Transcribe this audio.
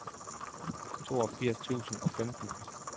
toogfirs tusind og femten